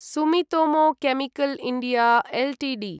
Sumitomo chemical India Ltd